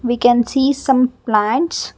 we can see some plants.